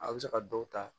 A bɛ se ka dɔw ta